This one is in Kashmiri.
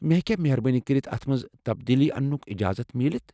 مے٘ ہیكیا مہربٲبی کٔرِتھ اتھ مَنٛز تَبدیٖلی اَنیُك اجازت میلِتھ ؟